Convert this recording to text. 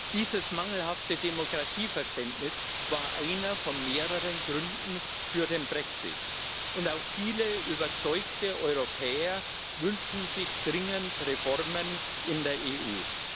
Dieses mangelhafte Demokratieverständnis war einer von mehreren Gründen für den Brexit, und auch viele überzeugte Europäer wünschen sich dringend Reformen in der EU.